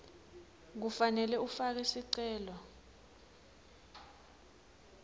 kufanele ufake sicelo